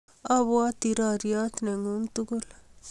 a bwati rariot ne ng'un tugul